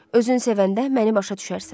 Özün sevəndə məni başa düşərsən.